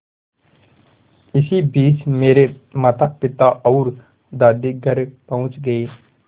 इसी बीच मेरे मातापिता और दादी घर पहुँच गए